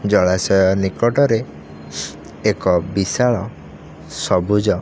ଜଳାଶୟ ନିକଟ ରେ ଏକ ବିଶାଳ ସବୁଜ।